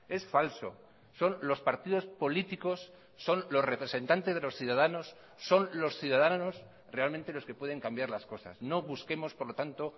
es falso son los partidos políticos son los representantes de los ciudadanos son los ciudadanos realmente los que pueden cambiar las cosas no busquemos por lo tanto